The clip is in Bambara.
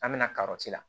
An bɛna karɔti la